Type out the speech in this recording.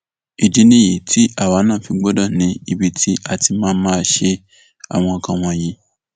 ìdí nìyí tí àwa náà fi gbọdọ ní ibi tí a ti máa máa ṣe àwọn nǹkan wọnyí